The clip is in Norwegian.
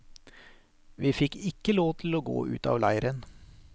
Vi fikk ikke lov til å gå ut av leiren.